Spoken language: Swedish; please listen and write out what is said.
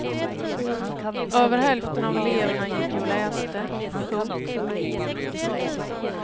Över hälften av eleverna gick ju och läste. punkt